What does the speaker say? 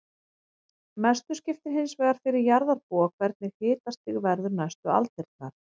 Mestu skiptir hins vegar fyrir jarðarbúa hvernig hitastig verður næstu aldirnar.